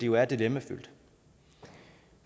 jo er dilemmafyldt